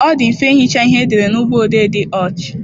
Ọ dị mfe ihicha ihe edere na ụgbọ odee dị ọch.